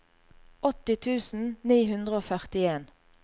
åtti tusen ni hundre og førtien